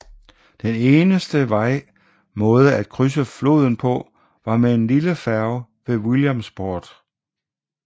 Den eneste vej måde at krydse floden på var med en lille færge ved Williamsport